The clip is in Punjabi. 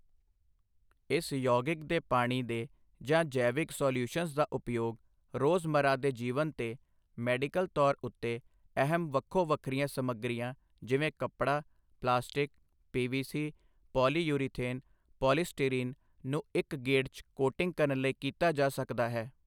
ਇਸ ਯੌਗਿਕ ਦੇ ਪਾਣੀ ਦੇ ਜਾਂ ਜੈਵਿਕ ਸਾਲਿਯੂਸ਼ਨਜ਼ ਦਾ ਉਪਯੋਗ ਰੋਜ਼ਮੱਰਾ ਦੇ ਜੀਵਨ ਤੇ ਮੈਡੀਕਲ ਤੌਰ ਉੱਤੇ ਅਹਿਮ ਵੱਖੋ ਵੱਖਰੀਆਂ ਸਮੱਗਰੀਆਂ ਜਿਵੇਂ ਕੱਪੜਾ, ਪਲਾਸਟਿਕ, ਪੀਵੀਸੀ, ਪੌਲੀਯੂਰੀਥੇਨ, ਪੌਲੀਸਟੀਰੀਨ ਨੂੰ ਇੱਕ ਗੇੜ 'ਚ ਕੋਟਿੰਗ ਕਰਨ ਲਈ ਕੀਤਾ ਜਾ ਸਕਦਾ ਹੈ।